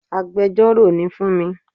Agbẹjọ́rò ni fúnmi